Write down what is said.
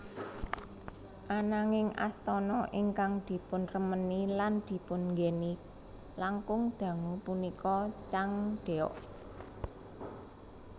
Ananging astana ingkang dipunremeni lan dipun nggèni langkung dangu punika Changdeok